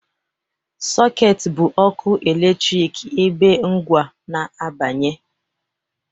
Sockets bụ ọkụ eletrik ebe ngwa na-abanye